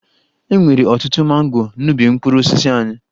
E nwere ọtụtụ mango n'ubi mkpụrụ osisi anyị